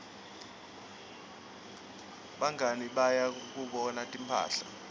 bangaui baya kuyobuka timphahla